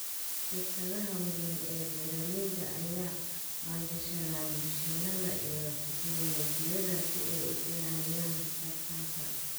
Shirkadaha waaweyn ee beeralayda ayaa maalgashada mishiinada iyo tignoolajiyada si ay u ilaaliyaan tartanka.